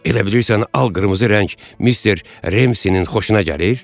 Elə bilirsən al qırmızı rəng Mister Remsinin xoşuna gəlir?